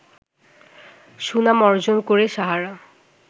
সুনাম অর্জন করে সাহারা